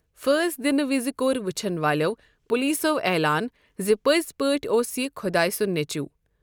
فٲسۍ دِنہٕ وِزِ کوٚر ؤچھَن والٮ۪و پولیسَو عیلان زِ پٔزۍ پٲٹھۍ اوس یہِ خۄدایہِ سُنٛد نیٚچُو!